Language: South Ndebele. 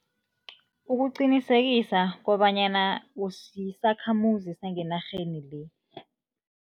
Ukuqinisekisa kobanyana usisakhamuzi sangenarheni le.